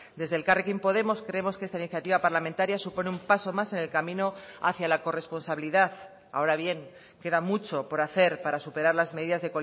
desde elkarrekin podemos creemos que esta iniciativa parlamentaria supone un paso más en el camino hacia la corresponsabilidad ahora bien queda mucho por hacer para superar las medidas